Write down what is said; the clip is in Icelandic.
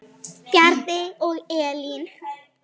Bjarni og Elín.